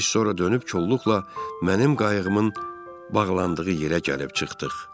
Biz sonra dönüb kolluqla mənim qayığımın bağlandığı yerə gəlib çıxdıq.